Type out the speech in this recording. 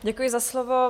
Děkuji za slovo.